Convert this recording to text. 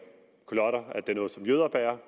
noget som jøder bærer